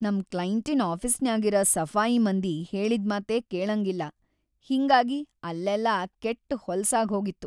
ನಂ ಕ್ಲೈಂಟಿನ್‌ ಆಫೀಸ್‌ನ್ಯಾಗಿರ ಸಫಾಯಿ ಮಂದಿ ಹೇಳಿದ್‌ ಮಾತೇ ಕೇಳಂಗಿಲ್ಲಾ ಹಿಂಗಾಗಿ ಅಲ್ಲೆಲ್ಲಾ ಕೆಟ್‌ ಹೊಲಸಾಗ್ಹೋಗಿತ್ತು .